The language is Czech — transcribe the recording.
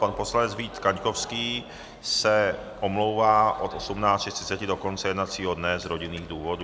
Pan poslanec Vít Kaňkovský se omlouvá od 18.30 do konce jednacího dne z rodinných důvodů.